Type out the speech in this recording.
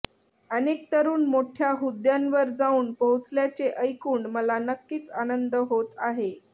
अनेक तरुण मोठया हुद्दयांवर जाऊन पोहोचल्याचे ऐकून मला नक्कीच आनंद होत आहे